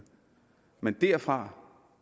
men derfra